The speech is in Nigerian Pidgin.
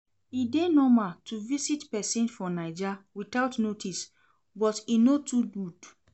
E dey normal to visit pesin for Naija witout notice but e no too good.